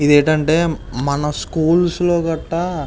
ఇది ఏంటంటే మన స్కూల్స్ గట్ట --